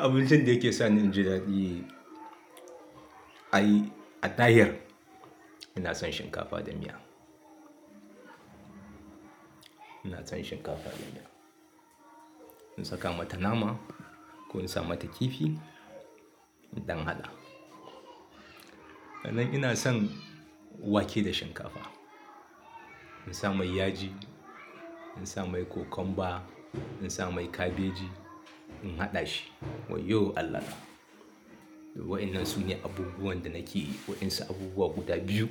Abincin da yake sa ni jin daɗi ayi a tahir, ina son shinkafa da miya. Ina son shinkafa da miya. In saka mata nama ko in sa mata kifi in ɗan haɗa. Sannan ina son wake da shinkafa. In sa mai yaji, in sa mai cucumber, in sa mai kabeji in haɗa shi wayyo Allah na. Wa'annan su ne abubuwan da nake waɗansu abubuwa guda biyu,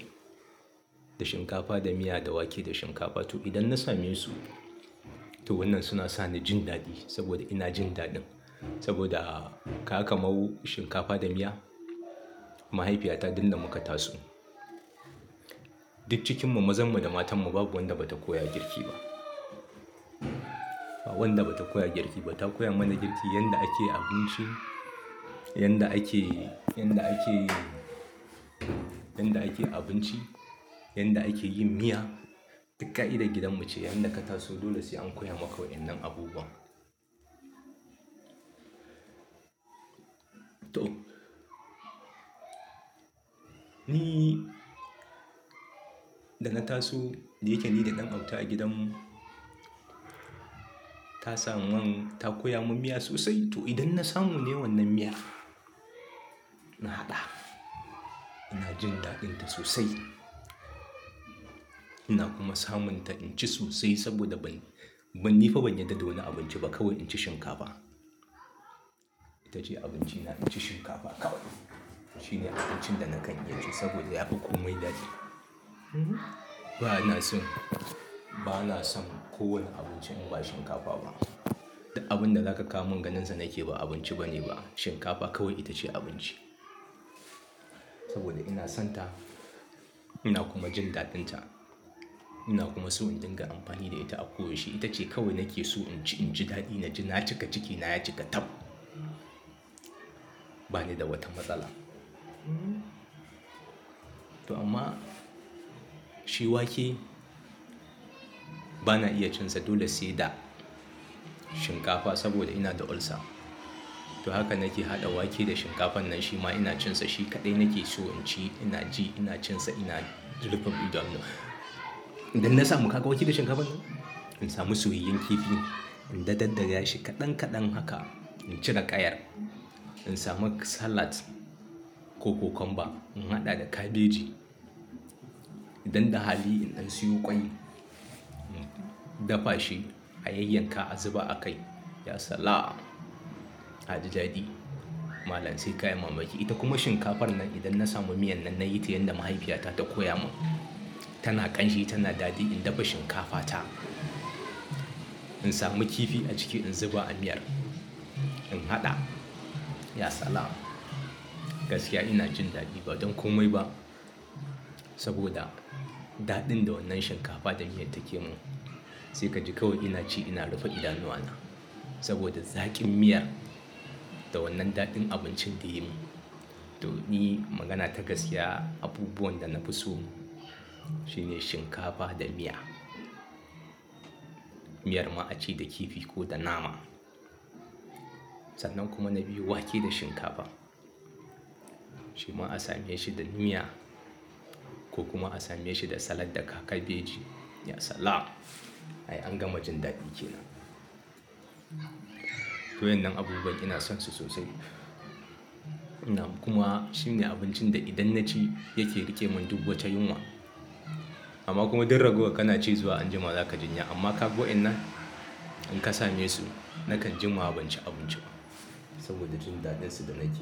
da shinkafa da miya da wake da shinkafa to idan na same su, to wannan suna sa ni jin daɗi saboda ina jin daɗin. Saboda kaga kaman shinkafa da miya mahaifiyata duk da muka taso. Duk cikin mu mazan mu da matan mu babu wanda bata koya girki ba. Ba wanda bata koya wa girki ba. Ta koya mana girki yanda ake abinci, yanda ake, yanda ake, yanda ake abinci, yanda ake yin miya. Duk ƙa idan gidan mu ce, yanda ka taso dole sai an koya maka wa'innan abubuwan. To, ni da na taso da yake ni da ɗan autan a gidan mu ta sa mun ta koya mun miya sosai to idan na samu ne wannan miyar na haɗa. Ina jin daɗin ta sosai. Ina kuma samun ta in ci sosai saboda ban, ban nifa ban yadda wani abinci ba kawai in ci shinkafa. Ita ce abinci na in ci shinkafa kawai. Shine abincin da na kan iya ci saboda yafi komai daɗi. Bana son, bana son kowane abinci in ba shinkafa ba. Duk abun da zaka kawo mun ganin sa nake ba abinci bane ba. Shinkafa kawai ita ce abinci. Saboda ina son ta ina kuma jin daɗin ta. Ina kuma so in dinga amfani da ita a ko wace shi. Ita ce kawai nake so in ci in ji daɗi na ji na cika ciki na ya cika tab. Ba ni da wata matsala. To amma shi wake bana iya cin sa dole sai da shinkafa saboda ina da ulcer. To haka nake haɗa wake da shinkafar nan shima ina cin sa shi kaɗai nake so in ci ina ji ina cin sa ina rufe idanuwa. Idan na samu haka wake da shinkafar nan in samu suiyoyen kifi in dadaddare shi kaɗan kaɗan haka in ci na ƙayar. In samu salad ko cucumber in haɗa da kabeji. Idan da hali in an siyo ƙwai in dafa shi a yayyanka a zuba a kai ya sala! Aji daɗi. Malam sai kayan mamaki. Ita kuma shinkafar nan idan na samu miyan nan nayi ta yanda mahaifiyata ta koya mun. Tana ƙanshi tana daɗi in dafa shinkafa ta. In samu kifi a ciki in zuba a miyar in haɗa ya sala! Gaskiya ina jin daɗi ba don komai ba saboda daɗin da wannan shinkafa da miyan take mun. Sai ka ji kawai ina ci ina rufe idanuwana saboda zaƙin miyar da wannan daɗin abincin tayi mun. To ni magana ta gaskiya abubuwan da na fi so shine shinkafa da miya. Miyar ma a ci da kifi ko da nama. Sannan kuma na biyu wake da shinkafa. Shi ma a sa miyar shi da miya ko kuma a sa miyar shi da salad da ka kabeji ya sala! Ai an gama jin daɗi kenan. To wannan abubuwan ina son su sosai. Ina kuma shine abincin da idan na ci yake rike mun duk wata yunwa. Amma kuma duk ragowar kana ci zuwa anjima zaka jin ya' amma kaga wa in nan in ka same su nakan jin ma ban ci abinci ba saboda jin daɗin su da na ke.